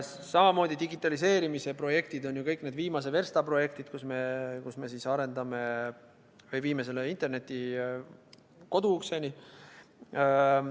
Samamoodi digitaliseerimise projektid on ju kõik need viimase versta projektid, kus me viime interneti koduukseni.